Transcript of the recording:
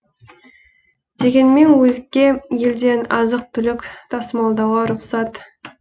дегенмен өзге елден азық түлік тасымалдауға рұқсат